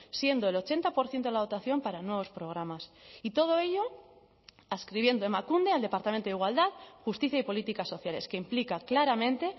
siendo el ochenta por ciento de la dotación para nuevos programas y todo ello adscribiendo emakunde al departamento de igualdad justicia y políticas sociales que implica claramente